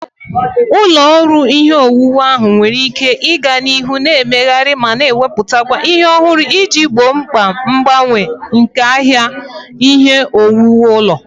Ụlọ ọrụ ihe owuwu ahụ nwere ike ịga n'ihu na-emegharị ma na-emepụta ihe ọhụrụ iji gboo mkpa mgbanwe nke ahịa ihe owuwu ụlọ.